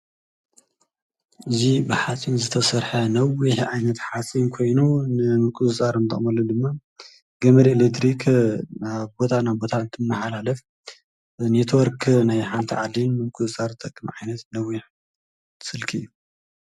እዚ ብሓፂን ዝተሰርሐ ነዊሕ ዓይነት ሓፂን ኮይኑ ንምቁፅፃር ንጠቕመሉ ድማ ገመድ ኤሌክትሪክ ካብ ቦታ ናብ ቦታ እንትመሓላለፍ ኔትዎርክ ናይ ሓንቲ ዓዲ ንምቁፅፃር ዝጠቅም ዓይነት ነዊሕ ስልኪ እዩ፡፡